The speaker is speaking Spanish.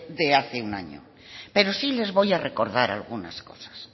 de hace un año pero sí les voy a recordar algunas cosas